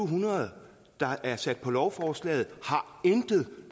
hundrede der er sat på lovforslaget intet